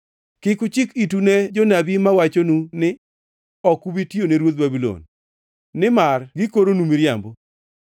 Kik uchik itu ne jonabi mawachonu ni, ‘Ok ubi tiyone ruodh Babulon,’ nimar gikoronu miriambo.